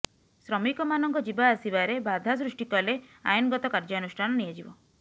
ଶ୍ରମିକମାନଙ୍କ ଯିବାଆସିବାରେ ବାଧା ସୃଷ୍ଟି କଲେ ଆଇନଗତ କାର୍ଯ୍ୟାନୁଷ୍ଠାନ ନିଆଯିବ